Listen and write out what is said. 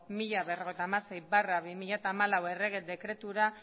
mila berrogeita hamasei barra bi mila hamalau errege dekretura